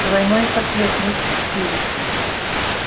двойной портрет мистер криви